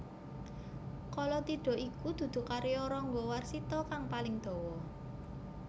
Kalatidha iku dudu karya Rangga Warsita kang paling dawa